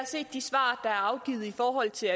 til